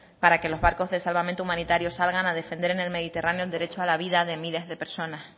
para que los barcos de salvamento humanitario salgan a defender en el mediterráneo el derecho a la vida de miles de personas